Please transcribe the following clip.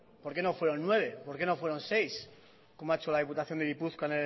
por qué no fueron nueve por qué no fueron seis como ha hecho la diputación de gipuzkoa